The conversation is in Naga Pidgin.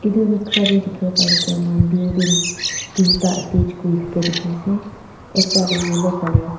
itu noksa te dikhibo pari thakia moikhan building tinta attached thakia dikhi ase ekta de yellow color .